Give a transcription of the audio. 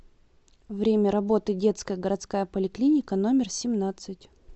время работы детская городская поликлиника номер семнадцать